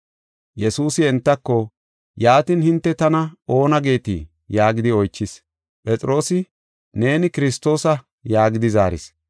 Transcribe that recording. Yesuusi entako, “Yaatin hinte tana oona geetii?” yaagidi oychis. Phexroosi, “Neeni Kiristoosa” yaagidi zaaris.